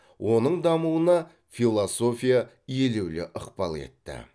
оның дамуына философия елеулі ықпал етті